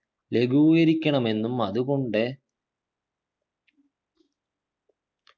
ലഘൂകരിക്കണമെന്നും അതുകൊണ്ട്